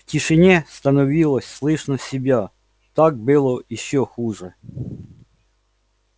в тишине становилось слышно себя так было ещё хуже